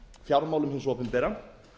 fjármálum hins opinbera